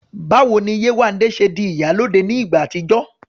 Báwo ni Yéwandé ṣe di "ìyálóde" ní ìgbà àtijọ́?